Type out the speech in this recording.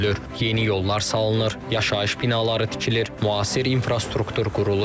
Yeni yollar salınır, yaşayış binaları tikilir, müasir infrastruktur qurulur.